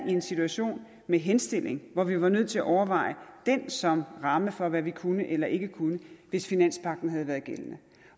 en situation med henstilling hvor vi var nødt til at overveje den som ramme for hvad vi kunne eller ikke kunne hvis finanspagten havde været gældende